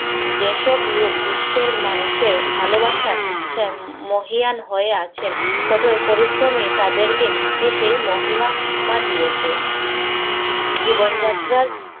যেসব লোক বিশ্বের মানুষের ভালোবাসায় মহীয়ান হয়ে আছেন, কঠোর পরিশ্রমই তাদেরকে সেই মহিমা মা দিয়েছে। জীবনযাত্রার